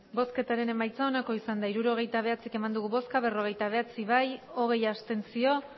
hirurogeita bederatzi eman dugu bozka berrogeita bederatzi bai hogei abstentzio